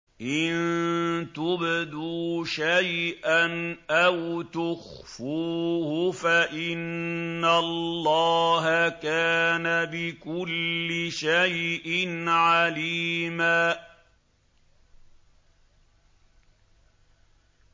إِن تُبْدُوا شَيْئًا أَوْ تُخْفُوهُ فَإِنَّ اللَّهَ كَانَ بِكُلِّ شَيْءٍ عَلِيمًا